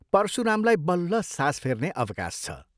परशुरामलाई बल्ल सास फेर्ने अवकाश छ।